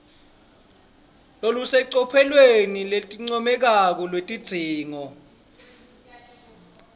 lolusecophelweni lelincomekako lwetidzingo